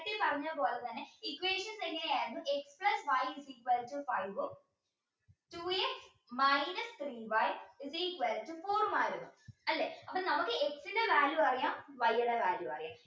നേരത്തെ പറഞ്ഞ പോലെ തന്നെ equation എങ്ങനെയായിരുന്നു x plus y is equal to five ഉം two x minus three y is equal to four ഉമായിരുന്നു അല്ലെ അപ്പൊ നമുക്ക് X ന്റെ value അറിയാം Y ടെ value അറിയാം